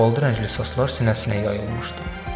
Şabalıdı rəngli saçlar sinəsinə yayılmışdı.